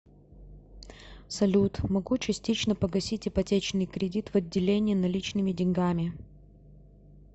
салют могу частично погасить ипотечный кредит в отделении наличными деньгами